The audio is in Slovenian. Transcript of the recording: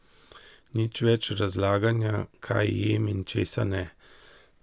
Nič več razlaganja, kaj jem in česa ne.